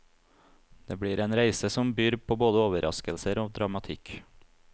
Det blir en reise som byr på både overraskelser og dramatikk.